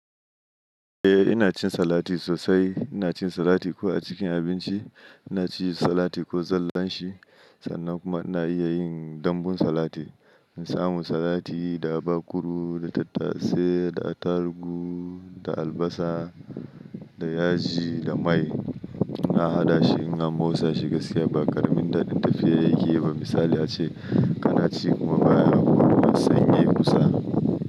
Eh ina cin salati sosai. Ina cin salati ko a cikin abinci, ina cin salati ko zallan shi sannan kuma ina iya yin dambun salati. In samu salati da baburu, da tattasai, da attarugu, da albasa, da yaji, da mai. Ina hada shi ina motsa shi gaskiya. Ba karamin dadin tafiya yake yi ba. Misali ace kana ci kuma baya hagu ba sanye kusa.